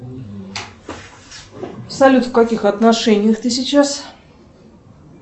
салют в каких отношениях ты сейчас